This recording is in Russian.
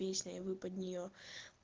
песня и вы под нее